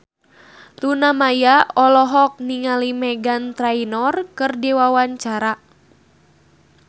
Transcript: Luna Maya olohok ningali Meghan Trainor keur diwawancara